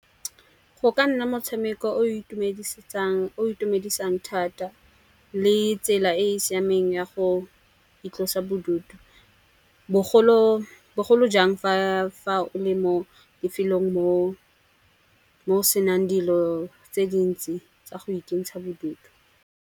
O ka nna motshameko o itumedisang thata le tsela e e siameng ya go itlosa bodutu. Bogolo jang fa o le mo lefelong mo senang dilo tse dintsi tsa go ikentsha bodutu.